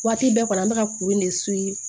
Waati bɛɛ kɔni an be ka kuru in de